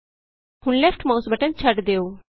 ਹੁਣ left mouse button ਛੱਡ ਦਿਉ